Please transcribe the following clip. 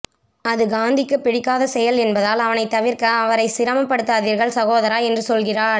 அது காந்திக்கு பிடிக்காத செயல் என்பதால் அவனை தவிர்க்க அவரை சிரமப்படுத்தாதீர்கள் சகோதரா என்று சொல்கிறாள்